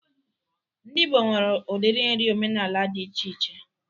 Ndị Ịgbo nwere udiri nri omenala dị iche iche